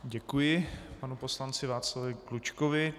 Děkuji panu poslanci Václavu Klučkovi.